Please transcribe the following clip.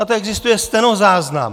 Na to existuje stenozáznam.